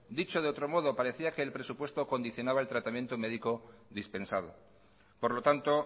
dicho de otro modo parecía que el presupuesto condicionaba el tratamiento médico dispensado por lo tanto